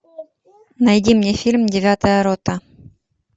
найди мне фильм девятая рота